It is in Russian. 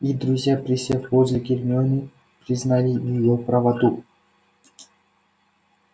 и друзья присев возле гермионы признали её правоту